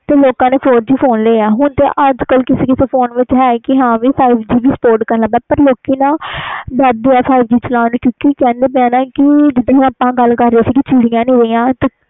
ਲੋਕਾਂ ਨੇ fiur G phone ਲਿਆ ਹੁਣ ਅਜ ਕਲ ਕਿ ਫੋਨ ਵਿਚ five G spot ਵੀ ਕਰਨ ਲੱਗ ਗਿਆ ਆ ਪਰ ਲੋਕੀ ਡਰ ਦੇ ਆ ਚਲਣ ਤੋਂ ਆਪਾ ਗੱਲ ਕਰ ਰਹੇ ਸੀ ਚਿੜੀਆਂ